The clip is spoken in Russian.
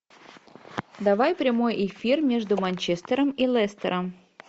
давай прямой эфир между манчестером и лестером